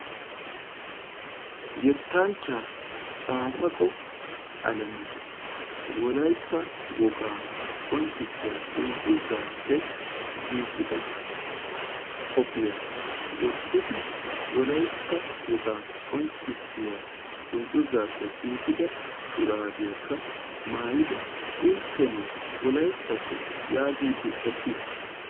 Yettanchcha Caafaqqo Alemu Wolaytta woga qonccissiyaa dungguzappe giigida qophiyaa wottidi Wolaytta woga qonccissiyaa dungguzappe giigida shurabiyakka maayyidi intteno Wolayttato yaagidi eqqiis.